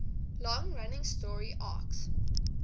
long running story arcs